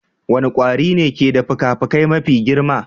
Wane kwari ne ke da fikafikai mafi girma?